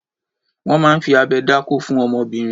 Wọ́n máa ń fi abẹ dákó fún ọmọbìnrin.